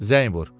Zəng vur.